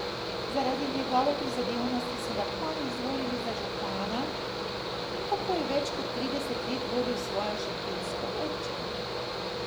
Zaradi njegove prizadevnosti so ga kmalu izvolili za župana in tako je več kot trideset let vodil svojo šentjursko občino.